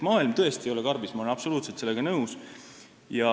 Maailm tõesti ei ole karbis, ma olen sellega täiesti nõus.